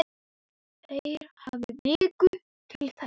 Þeir hafi viku til þess.